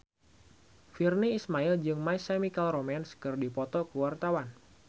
Virnie Ismail jeung My Chemical Romance keur dipoto ku wartawan